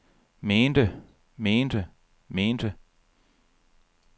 mente mente mente